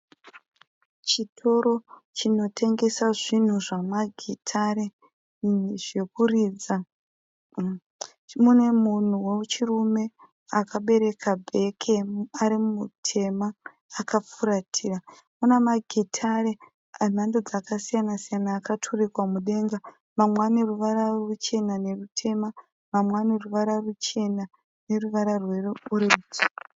Chitoro chinotengesa zvinhu zvamagitare zvekuridza. Mune munhu wechirume akabereka bheke ari mutema akafuratira. Mune magitare emhando dzakasiyana siyana akaturikwa mudenga. Mamwe ane ruvara ruchena nerutema. Mamwe ane ruvara ruchena neruvara rweorenji.